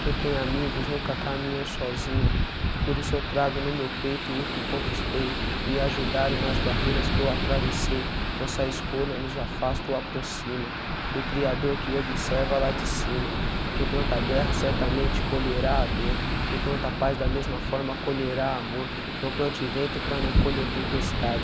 quem tem amigos nunca caminhou sozinho, por isso eu trago no meu peito o que conquistei, me ajudaram nas barreiras que eu atravessei, nossa escolha nos afasta ou aproxima, do criador que observa lá de cima, quem planta guerra certamente colherá a dor, quem planta paz da mesma forma colherá amor, não plante vento para não colher tempestade,